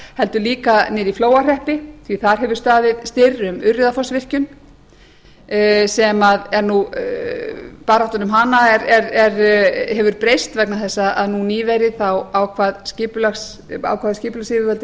heldur líka niðri í flóahreppi því þar hefur staðið stóra um urriðafossvirkjun baráttan um hana hefur breyst vegna þess að nú nýverið ákváðu skipulagsyfirvöld í hreppnum